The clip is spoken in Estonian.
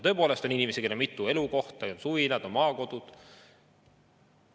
Tõepoolest on inimesi, kellel on mitu elukohta, on suvilad, on maakodud.